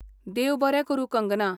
देव बरें करूं, कंगना!